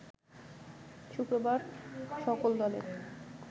শুক্রবার সকল দলের